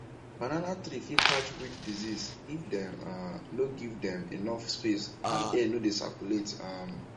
banana tree fit catch wilt disease if dem um no give dem enough space and air no dey circulate um